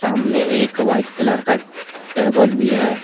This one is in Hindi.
सामने एक वाइट कलर का टेबल भी है।